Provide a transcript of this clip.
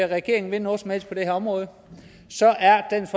regeringen vil noget som helst på det her område så er dansk